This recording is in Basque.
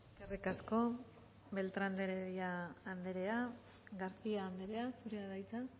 eskerrik asko beltrán de heredia anderea garcía anderea zurea da hitza